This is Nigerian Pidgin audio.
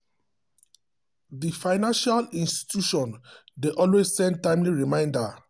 the financial institution dey always send timely reminder to customers about loan payment wey dey come.